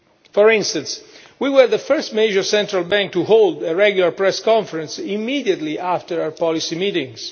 For instance, we were the first major central bank to hold a regular press conference immediately after our policy meetings.